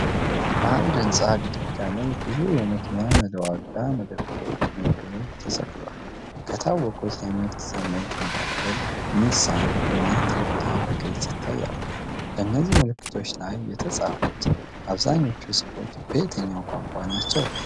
በአንድ ሕንፃ ግድግዳ ላይ ብዙ የመኪና መለዋወጫ መደብሮች ምልክቶች ተሰቅለዋል። ከታወቁት የምርት ስሞች መካከል ኒሳን እና ቶዮታ በግልጽ ይታያሉ። በእነዚህ ምልክቶች ላይ የተጻፉት አብዛኞቹ ጽሑፎች በየትኛው ቋንቋ ናቸው?